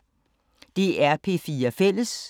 DR P4 Fælles